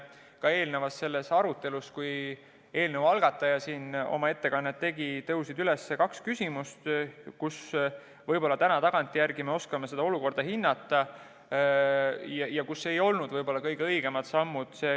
Ka eelnevas arutelus, kui eelnõu algataja oma ettekannet tegi, tõusetusid kaks küsimust, mille puhul võib-olla täna tagantjärele me oskame seda olukorda hinnata ja kus võib-olla ei tehtud kõige õigemaid samme.